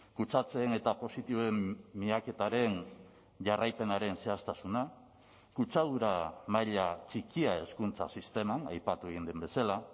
kutsatzeen eta positiboen miaketaren jarraipenaren zehaztasuna kutsadura maila txikia hezkuntza sisteman aipatu egin den bezala